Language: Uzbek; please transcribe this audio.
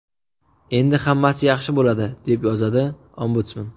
Endi hammasi yaxshi bo‘ladi”, deb yozadi Ombudsman.